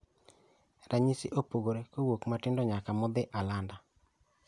Ranyisi opogore kowuok matindo nyaka modhi alanda